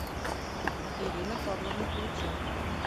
ирина павловна луценко